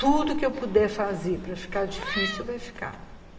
Tudo que eu puder fazer para ficar difícil, vai ficar.